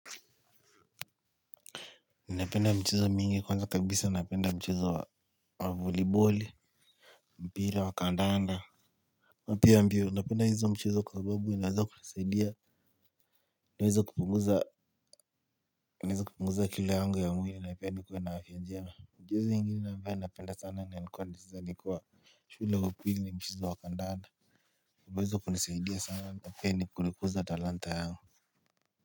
Napenda mchezo mingi kwanza kabisa napenda mchezo wa voliboli. Mpira wa kandanda na pia mbio napenda hizo mchezo kwa sababu inaweza kunisaidia. Naweza kupunguza kilo yangu ya mwili na pia nikuwe na afya njema. Mchezo ingine ambayo napenda sana na nilikuwa nacheza nikiwa shule wa upili ni mchezo wa kandanda umeweza kunisaidia sana na pia ni kunikuza talanta yangu.